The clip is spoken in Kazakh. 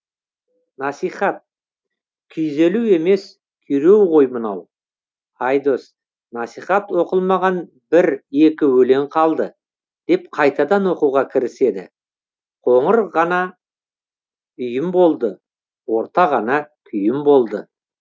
насихат күйзелу емес күйреу ғой мынау айдос насихат оқылмаған бір екі өлең қалды деп қайтадан оқуға кіріседі қоңыр ғана үйім болды орта ғана күйім болды